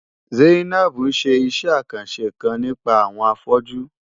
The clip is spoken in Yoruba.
Zainab ń ṣe iṣẹ́ àkànṣe kan nípa àwọn afọ́jú.